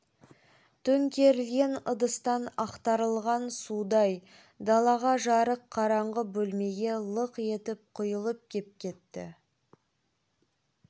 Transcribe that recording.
төңкерілген ыдыстан ақтарылған судай даладағы жарық қараңғы бөлмеге лық етіп құйылып кеп кетті